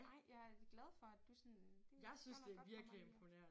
Ej jeg er glad for at du sådan det gør noget godt for mig